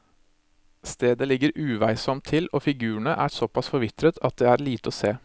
Stedet ligger uveisomt til og figurene er såpass forvitret at det er lite å se.